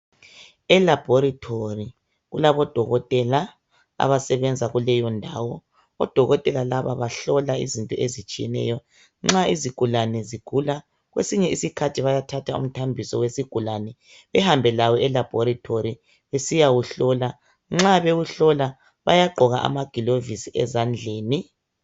Elabhorithori kulabodokotela abasebenza kuleyo ndawo. Odokotela laba bahlola izinto ezitshiyeneyo. Nxa isigulane sigula, kwesinye isikhathi bayathatha umthambiso wesigulane behambe lawo elabhorithori besiyawuhlola. Nxa bewuhlola, bayagqoka amagilovisi ezandleni.